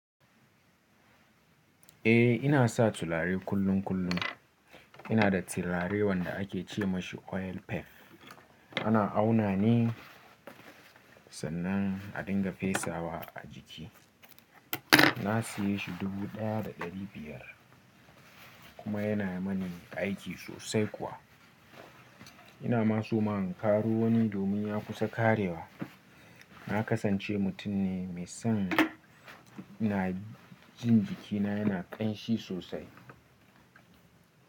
Eh ina sa tulare kullum kullum. Ina da tulare wanda ake ce masa oil pef. Ana auna ne sannan a dinga fesawa a jiki. Na siye shi dubu ɗaya da ɗari biyar kuma yana mani aiki sosai kuwa. Ina ma suma in ƙaro wani domin ya kusa ƙarewa. Na kasance mutum ne mai son na jin jikina yana ƙanshi sosai.